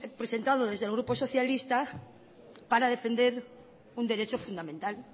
presentado desde el grupo socialista para defender un derecho fundamental